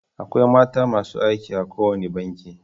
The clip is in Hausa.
Akwai mata masu aiki a kowane banki.